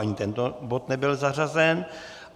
Ani tento bod nebyl zařazen.